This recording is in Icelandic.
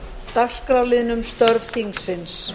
dagskrárliðnum um störf þingsins